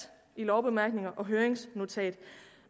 i lovbemærkninger og høringsnotat